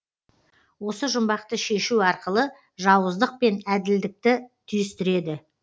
осы жұмбақты шешу арқылы жауыздық пен әділдікті түйістіреді